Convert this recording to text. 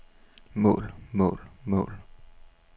mål mål mål